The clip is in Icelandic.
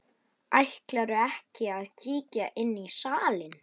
Ætlarðu ekki að kíkja inn í salinn?